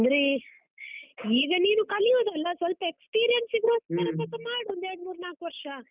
ಅಂದ್ರೆ, ಈಗ ನೀನು ಕಲಿಯುದಲ್ಲ experience ಗೋಸ್ಕರ ಸ್ವಲ್ಪ ಮಾಡು ಒಂದು ಎರಡು ಮೂರು ನಾಲ್ಕು ವರ್ಷ.